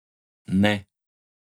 Ne.